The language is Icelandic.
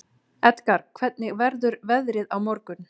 Edgar, hvernig verður veðrið á morgun?